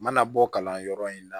N mana bɔ kalanyɔrɔ in na